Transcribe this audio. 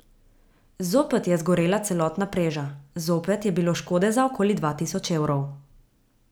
Zopet je zgorela celotna preža, zopet je bilo škode za okoli dva tisoč evrov.